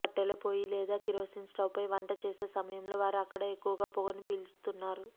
కట్టెల పోయి లేదా కిరోసిన్ స్టవ్పై వంట చేసే సమయంలో వారు అక్కడ ఎక్కువగా పొగను పీల్చుతున్నారు